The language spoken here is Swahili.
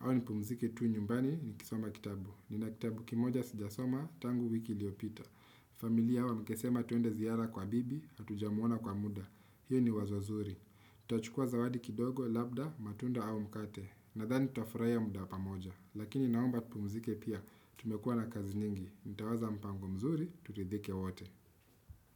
Awa nipumzike tu nyumbani ni kisoma kitabu. Nina kitabu kimoja sijasoma, tangu wiki liopita. Familia wa mikesema tuende ziyara kwa bibi, hatuja muona kwa muda. Hiyo ni wazo zuri. Tachukua zawadi kidogo, labda, matunda au mkate. Nadhani tuafuraya muda pamoja. Lakini naomba tupumzike pia, tumekua na kazi nyingi. Nitawaza mpango mzuri, turidhike wote.